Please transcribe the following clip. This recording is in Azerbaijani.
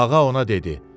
Ağa ona dedi: